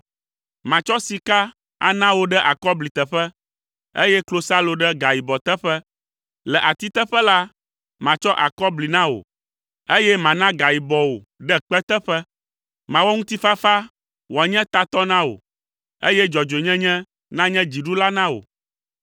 Matsɔ sika ana wò ɖe akɔbli teƒe, eye klosalo ɖe gayibɔ teƒe. Le ati teƒe la, matsɔ akɔbli na wò, eye mana gayibɔ wò ɖe kpe teƒe. Mawɔ ŋutifafa wòanye tatɔ na wò, eye dzɔdzɔenyenye nanye dziɖula na wò.